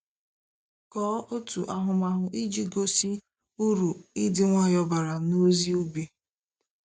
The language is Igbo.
Kọọ otu ahụmahụ iji gosi uru ịdị nwayọọ bara n’ozi ubi.